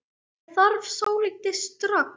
Ég þarf saltið strax.